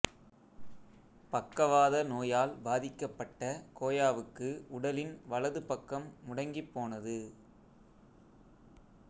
பக்கவாத நோயால் பாதிக்கப்பட்ட கோயாவுக்கு உடலின் வலது பக்கம் முடங்கிப் போனது